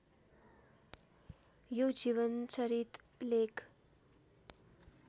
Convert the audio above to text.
यो जीवनचरित लेख